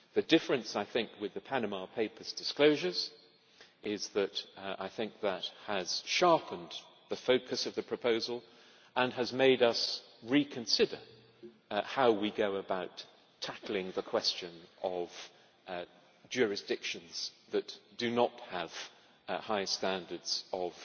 The difference, I think, with the Panama Papers disclosures is that it has sharpened the focus of the proposal and has made us reconsider how we go about tackling the question of jurisdictions that do not have high standards of